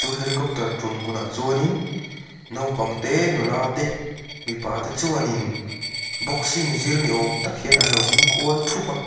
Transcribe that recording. chu helicopter tum hmun ah chuanin naupang te nula te mipa te chuanin boxing zir ni awm tak hian anlo ding kual thup a.